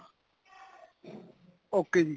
okay ਜੀ